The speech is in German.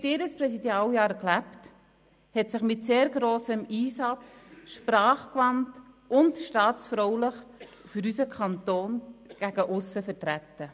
Sie hat ihr Präsidialjahr gelebt, hat unseren Kanton mit sehr grossem Einsatz, sprachgewandt und staatsfraulich gegen aussen vertreten.